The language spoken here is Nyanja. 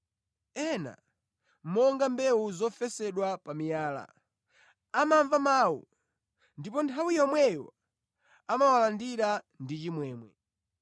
Ena, monga mbewu zofesedwa pa miyala, amamva mawu ndipo nthawi yomweyo amawalandira ndi chimwemwe.